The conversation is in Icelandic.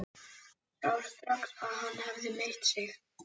Sá strax að hann hafði meitt sig.